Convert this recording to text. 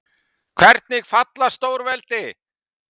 Hvernig falla stórveldi?